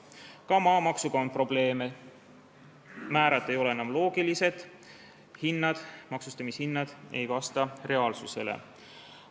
Ka maamaksuga on probleeme: määrad ei ole enam loogilised, maksustamishinnad ei vasta reaalsusele.